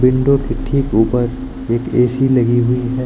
Window के ठीक ऊपर एक ए_सी लगी हुई है।